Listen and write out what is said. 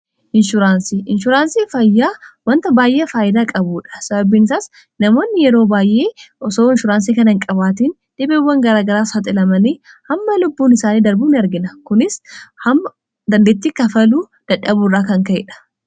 Inshuraansii, Inshuraansii fayyaa wanta baay'ee faayidaa qabuudha . sababbiin isaas namoonni yeroo baayyee osoo inshuraansii kana hin qabaatiin dhibeewwan garaagaraas saaxilamanii hamma lubbuun isaanii darbu argina. kunis hamma dandeetti kafaluu dadhabu irraa kan ka'eedha.